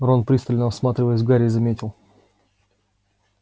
рон пристально всматриваясь в гарри заметил